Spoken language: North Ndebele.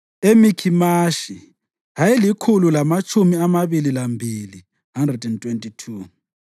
eMikhimashi ayelikhulu lamatshumi amabili lambili (122),